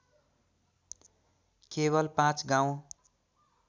केवल पाँच गाउँ